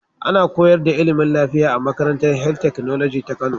Ana koyarda ilimin lafiya a makarantar health technology ta kano